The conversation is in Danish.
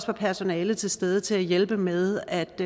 var personale til stede til at hjælpe med at